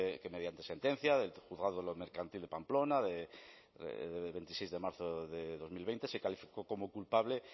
que mediante sentencia del juzgado de lo mercantil de pamplona de veintiséis de marzo de dos mil veinte se calificó como culpable